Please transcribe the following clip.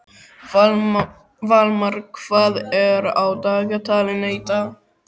Valmar, hvað er á dagatalinu í dag?